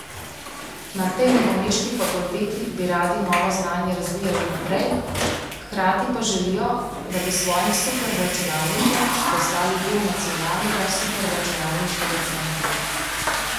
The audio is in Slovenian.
Na tej novomeški fakulteti bi radi novo znanje razvijali naprej, hkrati pa želijo, da bi s svojim superračunalnikom postali del nacionalnega superračunalniškega centra.